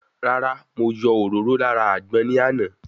Rárá, mo yọ òróró lára àgbọn ní àná